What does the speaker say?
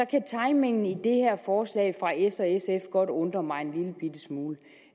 kan timingen i det her forslag fra s og sf godt undre mig en lille bitte smule